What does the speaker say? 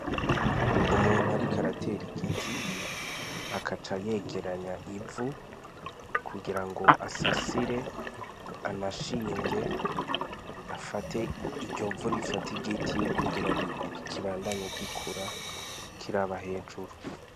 Umuntu ari karatera igiti akaca yegeranya ivu kugira ngo asasire anashinge afate iryovu rifate igiti kugira ikibandanye gikura kiraba hejuru.